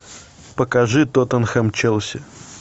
покажи тоттенхэм челси